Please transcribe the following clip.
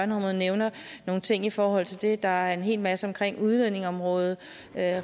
nævner nogle ting i forhold til det og der er en hel masse omkring udlændingeområdet